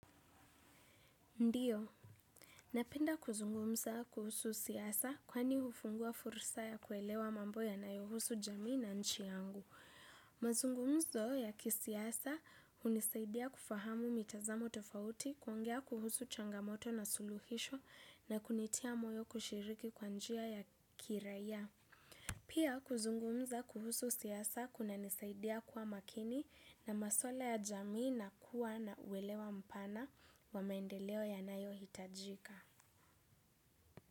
Ndio. Napenda kuzungumza kuhusu siasa kwani hufungua fursa ya kuelewa mambo yanayohusu jamii na nchi yangu. Mazungumzo ya kisiasa hunisaidia kufahamu mitazamo tofauti, kuongea kuhusu changamoto na suluhisho na kunitia moyo kushiriki kwa njia ya kiraia. Pia kuzungumza kuhusu siasa kunanisaidia kuwa makini na maswala ya jamii na kuwa na uelewa mpana wa maendeleo yanayohitajika.